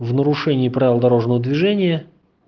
в нарушение правил дорожного движения